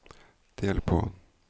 del på